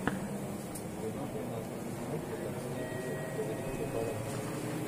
сезон тринадцать мультика медичи повелители флоренции